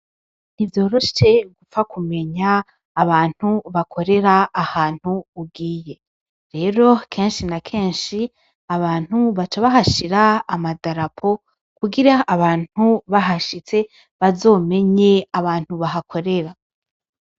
Ntivyoroshe gupfa kumenya abantu bakorera ahantu ugiye rero kenshi na kenshi abantu baca bahashira amadarapo kugira abantu bahashitse bazomenye abantu bahakorera.